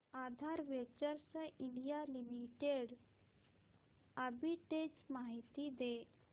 आधार ventures India limited arbitrage माहिती दे